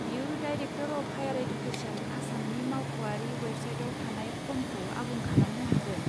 बियो director of higher education, आसामनि मावख'आरि वेबसाइटाव थानाय फर्मखौ आबुं खालामनो हागोन।